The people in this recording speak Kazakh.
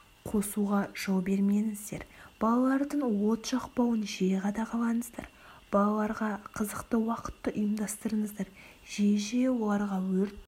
қосуға жол бермеңіздер балалардың от жақпауын жиі қадағалаңыздар балаларға қызықты уақытты ұйымдастырыңыздар жиі-жиі оларға өрт